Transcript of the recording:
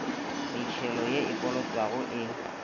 metšhelo ye e kolotwago e